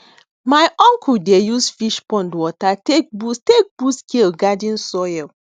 my uncle dey use fish pond water take boost take boost kale garden soil